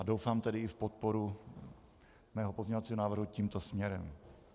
A doufám tedy i v podporu mého pozměňovacího návrhu tímto směrem.